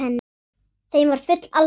Þeim var full alvara.